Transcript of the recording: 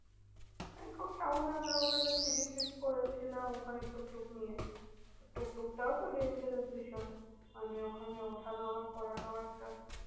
Bangkok town এ আমরা ওখানকার trip করেছিলাম ওখানে টুকটুক নিয়ে টুকটুক টাও তো dangerous ভীষণ মানে ওখানে ওঠা নামা করাটাও একটা